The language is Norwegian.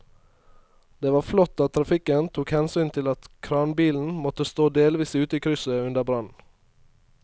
Det var flott at trafikken tok hensyn til at kranbilen måtte stå delvis ute i krysset under brannen.